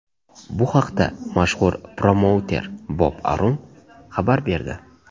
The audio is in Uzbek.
Bu haqda mashhur promouter Bob Arum xabar berdi.